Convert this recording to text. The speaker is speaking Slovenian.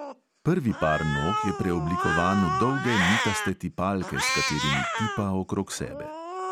Prvi par nog je preoblikovan v dolge nitaste tipalke, s katerimi tipa okrog sebe.